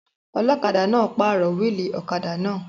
Ọlọ́kadà náà pàrọ̀ wíìlì ọ̀kadà náà